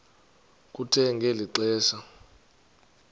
kuthe ngeli xesha